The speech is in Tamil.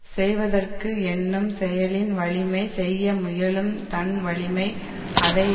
செய்வதற்கு எண்ணும் செயலின் வலிமை செய்ய முயலும் தன் வலிமை அதை